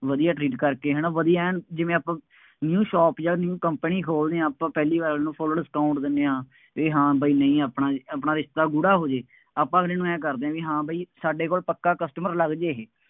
ਵਧੀਆ treat ਕਰਕੇ, ਹੈ ਨਾ, ਵਧੀਆ ਐਨ ਜਿਵੇਂ ਆਪਾਂ new shop ਜਾਂ new company ਖੋਲ੍ਹਦੇ ਹਾਂ ਆਪਾਂ ਪਹਿਲੀ ਵਾਰ ਨੂੰ full discount ਦਿੰਦੇ ਹਾਂ। ਬਈ ਹਾਂ ਬਈ ਨਹੀਂ ਆਪਣਾ ਰਿਸ਼ਤਾ, ਆਪਣਾ ਰਿਸ਼ਤਾ ਗੂੜ੍ਹਾ ਹੋ ਜਾਏ, ਆਪਾਂ ਅਗਲੇ ਨੂੰ ਆਂਏਂ ਕਰਦੇ ਆ ਬਈ ਹਾਂ ਬਈ ਸਾਡੇ ਕੋਲ ਪੱਕਾ customer ਲੱਗ ਜਾਏ, ਇਹ।